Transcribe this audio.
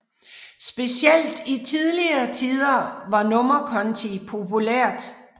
Specielt i tidligere tider var nummerkonti populært